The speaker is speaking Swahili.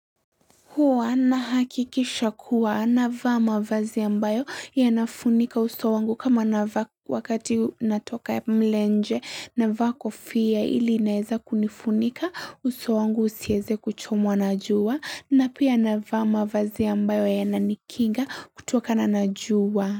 Huwa nahakikisha kuwa anavaa mavazi ambayo yanafunika uso wangu kama wakati natokea mle nje anavaa kofia ili inaeza kunifunika uso wangu usiweze kuchomwa na jua na pia navaa mavazi ambayo yananikinga kutokana na jua.